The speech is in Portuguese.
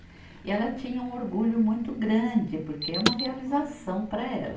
E ela tinha um orgulho muito grande, porque é uma realização para ela.